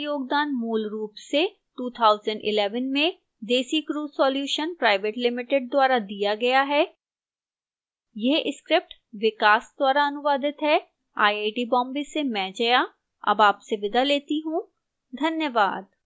इस tutorial का योगदान मूलरूप से 2011 में desicrew solutions pvt ltd द्वारा दिया गया है यह स्क्रिप्ट विकास द्वारा अनुवादित है आईआईटी बॉम्बे से मैं जया अब आपसे विदा लेती हूं धन्यवाद